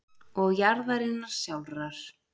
og jarðarinnar sjálfrar.